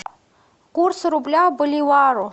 курс рубля к боливару